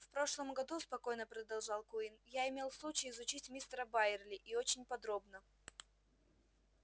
в прошлом году спокойно продолжал куинн я имел случай изучить мистера байерли и очень подробно